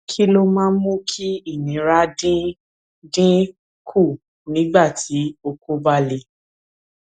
kí ló máa ń mú kí ìnira dín dín kù nígbà tí oko ba le